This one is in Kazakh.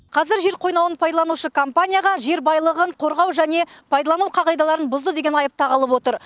қазір жер қойнауын пайдаланушы компанияға жер байлығын қорғау және пайдалану қағидаларын бұзды деген айып тағылып отыр